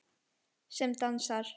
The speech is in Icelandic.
Sem dansar.